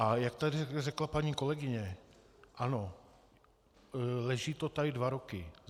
A jak tady řekla paní kolegyně, ano, leží to tady dva roky.